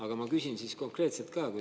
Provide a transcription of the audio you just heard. Aga ma küsin siis konkreetselt ka.